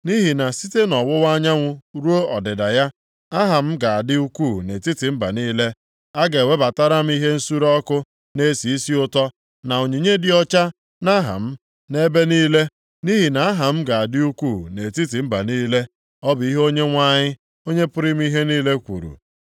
Nʼihi na site nʼọwụwa anyanwụ ruo ọdịda ya, aha m ga-adị ukwuu nʼetiti mba niile. A ga-ewebatara m ihe nsure ọkụ na-esi isi ụtọ na onyinye dị ọcha nʼaha m, nʼebe niile, nʼihi na aha m ga-adị ukwuu nʼetiti mba niile.” Ọ bụ ihe Onyenwe anyị, Onye pụrụ ime ihe niile kwuru.